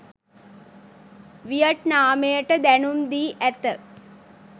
වියට්නාමයට දැනුම් දී ඇත